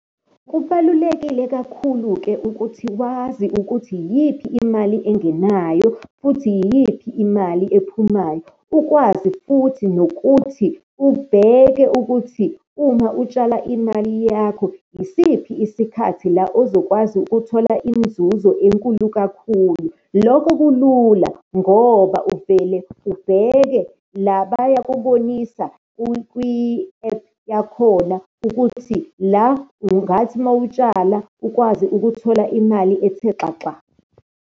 Kubalulekile kakhulu-ke ukuthi wazi ukuthi iyiphi imali engenayo, futhi yiyiphi imali ephumayo, ukwazi futhi nokuthi ubheke ukuthi uma utshala imali yakho, yisiphi isikhathi la ozokwazi ukuthola inzuzo enkulu kakhulu. Lokho kulula ngoba uvele ubheke la, bayakubonisa kwi-ephu yakhona ukuthi la ungathi uma utshala ukwazi ukuthola imali ethe xaxa.